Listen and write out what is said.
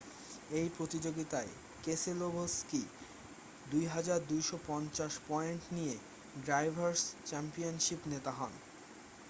এই প্রতিযোগীতায় Keselowski 2,250 point নিয়ে ড্রাইভারস' চ্যাম্পিয়নশিপ নেতা হন